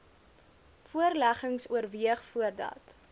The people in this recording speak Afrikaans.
voorleggings oorweeg voordat